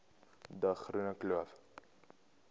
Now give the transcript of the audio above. de groene kloof